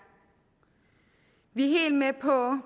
vi er helt med på